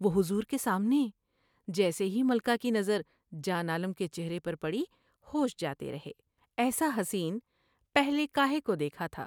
وہ حضور کے سامنے '' جیسے ہی ملکہ کی نظر جان عالم کے چہرے پر پڑی ہوش جاتے رہے۔ ایسا حسین پہلے کا ہے کو دیکھا تھا ۔